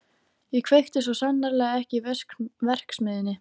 Ég kveikti svo sannarlega ekki í verksmiðjunni.